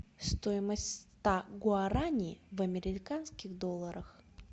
стоимость ста гуараней в американских долларах